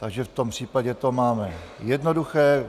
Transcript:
Takže v tom případě to máme jednoduché.